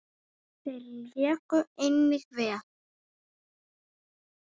Þeir léku einnig vel.